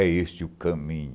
É este o caminho.